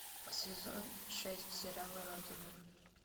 сезон шесть сериала родина